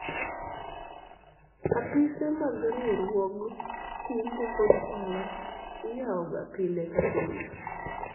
apise mag riwruog kungo kod hola iyawoga pile ka pile